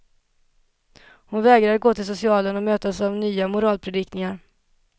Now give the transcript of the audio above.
Hon vägrar att gå till socialen och mötas av nya moralpredikningar.